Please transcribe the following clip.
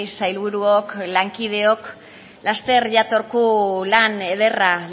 sailburuok lankideok laster jatorku lan ederra